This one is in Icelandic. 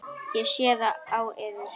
Ég sé það á yður.